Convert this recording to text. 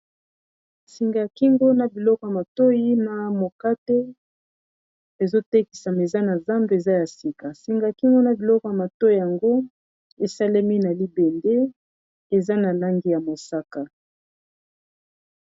singa ya kingo na biloko ya matoi na mokate ezotekisa miza na zambe eza ya sika singa ya kingo na biloko ya matoi yango esalemi na libende eza na langi ya mosaka